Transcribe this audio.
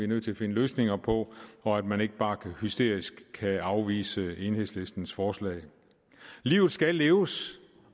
nødt til at finde løsninger på og at man ikke bare hysterisk kan afvise enhedslistens forslag livet skal leves